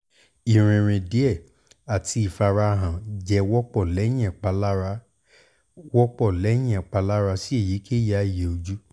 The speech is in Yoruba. irinrin diẹ ati ifarahan jẹ wọpọ lẹhin ipalara wọpọ lẹhin ipalara si eyikeyi aaye oju